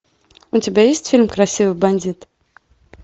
у тебя есть фильм красивый бандит